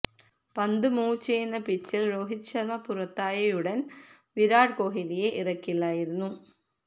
പന്ത് മൂവ് ചെയ്യുന്ന പിച്ചില് രോഹിത് ശര്മ പുറത്തായയുടന് വിരാട് കോലിയെ ഇറക്കില്ലായിരുന്നു